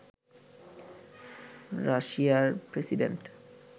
রাশিয়ার প্রেসিডেন্ট